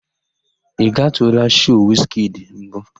Ị gatụụla shoo Wiz kidi mbụ?